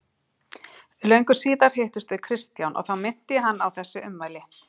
Löngu síðar hittumst við Kristján og þá minnti ég hann á þessi ummæli.